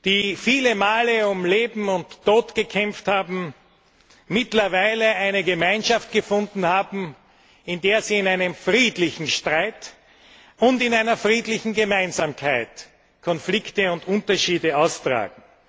die viele Male um Leben und Tod gekämpft haben, mittlerweile eine Gemeinschaft gefunden haben, in der sie in einem friedlichen Streit und in einer friedlichen Gemeinsamkeit Konflikte und Unterschiede austragen.